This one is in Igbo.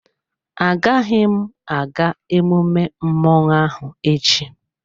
Agaghị m aga emume mmọnwụ ahụ echi.